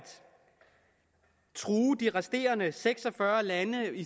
true de resterende seks og fyrre lande i